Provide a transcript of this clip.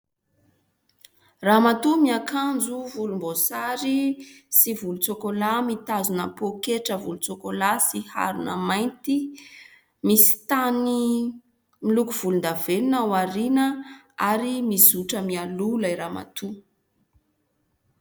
Ramatoa miakanjo volomboasary sy volontsokolà. Mitazona pôketra volontsokolà sy harona mainty. Misy tany miloko volondavenona ao aoriana ary mizotra mialoha ilay ramatoa.